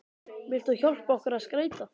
Vilt þú hjálpa okkur að skreyta?